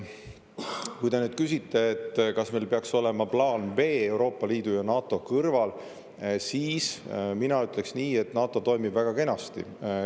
Kui te küsite, kas meil peaks olema plaan B Euroopa Liidu ja NATO kõrval, siis mina ütleksin nii, et NATO toimib väga kenasti.